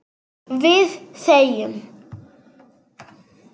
Við þegjum.